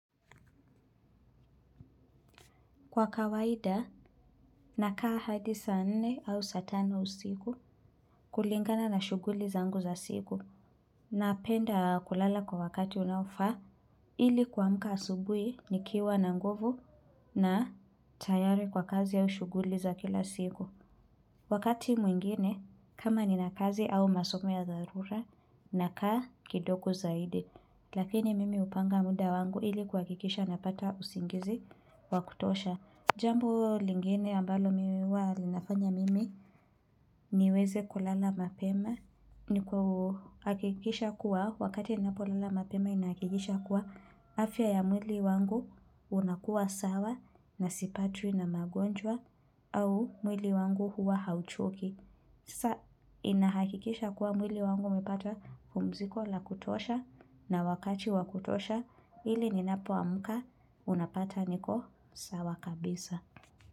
Kwa kawaida, nakaa hadi saa nne au satano usigu kulingana na shuguli zangu za sigu. Napenda kulala kwa wakati unaofa, ili kwamuka asubui nikiwa na nguvu na tayari kwa kazi au shuguli za kila sigu. Wakati mwingine, kama ninakazi au masomo ya darura, nakaa kidoko zaidi. Lakini mimi upanga muda wangu ili kwakikisha napata usingizi wakutosha. Jambo lingine ambalo miwa linafanya mimi niweze kulala mapema ni kuhakikisha kuwa wakati ninapolala mapema inakikisha kuwa afya ya mwili wangu unakuwa sawa na sipati na magonjwa au mwili wangu huwa hauchoki. Sa inahakikisha kuwa mwili wangu umepata pumziko la kutosha na wakati wakutosha ili ninapo amuka unapata niko sawa kabisa.